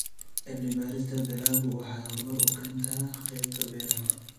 Cilmi-baarista dalaggu waxay horumar ka keentaa qaybta beeraha.